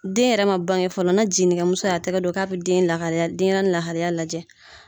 Den yɛrɛ ma baŋɛ fɔlɔ, na jiginimuso y'a tɛgɛ don k'a bɛ den lakalaya denyɛrɛni lahalaya lajɛ